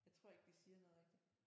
Jeg tror ikke de siger noget rigtigt